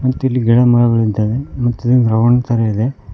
ಮತ್ತಿಲ್ಲಿ ಗಿಡಮರಗಳಿದ್ದಾವೆ ಮತ್ತು ರೌಂಡ್ ತರ ಇದೆ.